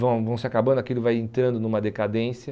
Vão vão se acabando, aquilo vai entrando numa decadência.